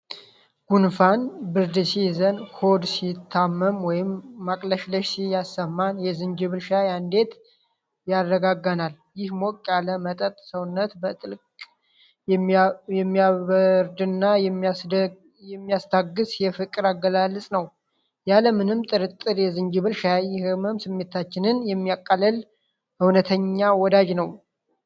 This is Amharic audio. ጉንፋንና ብርድ ሲይዘን፣ ሆድ ሲታመም ወይም ማቅለሽለሽ ሲሰማን የዝንጅብል ሻይ እንዴት ያረጋጋናል! ይህ ሞቅ ያለ መጠጥ ሰውነትን በጥልቅ የሚያበርድና የሚያስታግስ የፍቅር አገላለጽ ነው። ያለ ምንም ጥርጥር የዝንጅብል ሻይ የሕመም ስሜታችንን የሚያቃልል እውነተኛ ወዳጅ ነው።